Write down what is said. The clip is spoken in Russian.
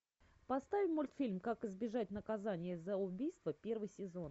поставь мультфильм как избежать наказания за убийство первый сезон